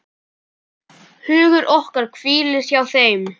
Hugur okkar hvílir hjá þeim.